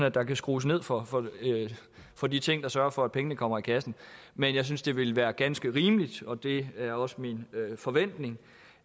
at der kan skrues ned for for de ting der sørger for at pengene kommer i kassen men jeg synes det ville være ganske rimeligt og det er også min forventning